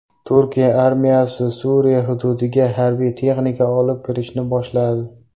Turkiya armiyasi Suriya hududiga harbiy texnika olib kirishni boshladi.